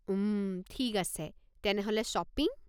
উম, ঠিক আছে, তেনেহ'লে শ্বপিং?